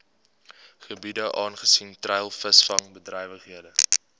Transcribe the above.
gebiede aangesien treilvisvangbedrywighede